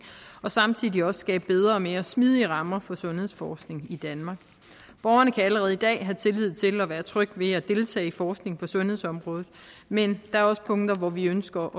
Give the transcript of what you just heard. og samtidig også skabe bedre og mere smidige rammer for sundhedsforskningen i danmark borgerne kan allerede i dag have tillid til og være trygge ved at deltage i forskning på sundhedsområdet men der er også punkter hvor vi ønsker